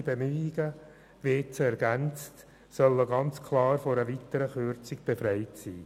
Echte Bemühungen sollen vor einer weiteren Kürzung schützen.